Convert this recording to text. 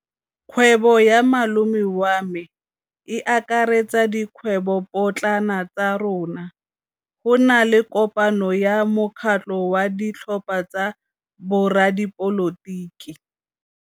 Kgwêbô ya malome wa me e akaretsa dikgwêbôpotlana tsa rona. Go na le kopanô ya mokgatlhô wa ditlhopha tsa boradipolotiki.